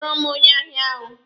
Kpọrọ m onye ahịa ahụ!